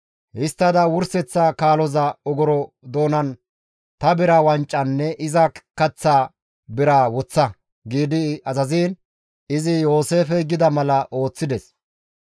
Histtada wurseththa kaaloza ogoro doonan ta bira wancanne iza kaththa biraa woththa» gi azaziin izi Yooseefey gida mala ooththides.